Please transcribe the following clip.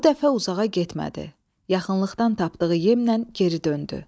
Bu dəfə uzağa getmədi, yaxınlıqdan tapdığı yemlə geri döndü.